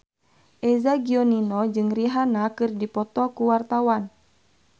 Eza Gionino jeung Rihanna keur dipoto ku wartawan